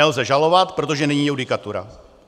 Nelze žalovat, protože není judikatura.